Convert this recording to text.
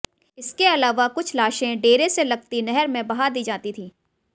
इसके अलावा कुछ लाशें डेरे से लगती नहर में बहा दी जाती थीं